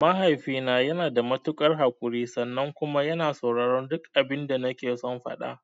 Mahaifina yanada matuƙar haƙurin sannan kuma yana sauraren duk abinda nakeson faɗa.